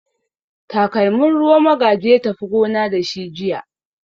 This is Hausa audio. Takalmin ruwa Magaji ya tafi gona da shi jiya.